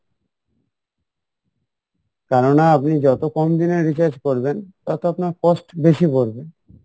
কেননা আপনি যত কম দিনের recharge করবেন তত আপনার cost বেশি পড়বে